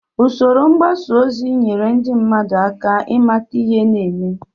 Usoro mgbasa ozi nyere ndị mmadụ aka ịmata ihe na-eme